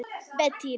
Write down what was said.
Beitir